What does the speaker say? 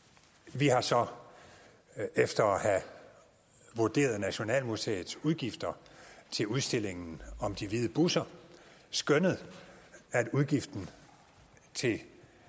vi har så efter at have vurderet nationalmuseets udgifter til udstillingen om de hvide busser skønnet at udgiften til